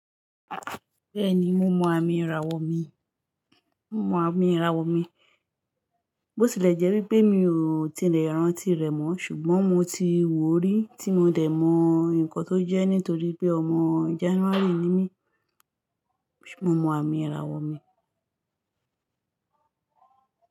Bẹ́ẹ̀ni mo mọ àmì ìràwọ̀ mi, mo mọ àmì ìràwọ̀ mi. Bó tilẹ̀ jẹ́ wípé mi ò tilẹ̀ rántí rẹ̀ mọ́ ṣùgbọ́n mo ti wò ó rí tí mo dẹ̀ mọ nǹkan tó jẹ́ nítorí pé ọmọ January ni mí. Mo mọ àmì ìràwọ̀ mi.